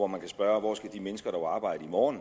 man kan spørge hvor skal de mennesker dog arbejde i morgen